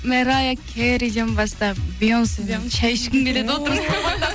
мэрайя кэриден бастап бейонспен шай ішкім келеді отырып